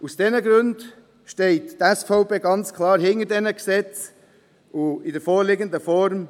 Aus diesen Gründen steht die SVP ganz klar hinter den Gesetzen in der vorliegenden Form.